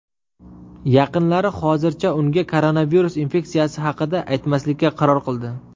Yaqinlari hozircha unga koronavirus infeksiyasi haqida aytmaslikka qaror qildi.